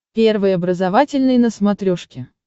первый образовательный на смотрешке